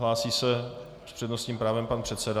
Hlásí se s přednostním právem pan předseda.